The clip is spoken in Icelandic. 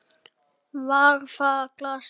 Var það glasið?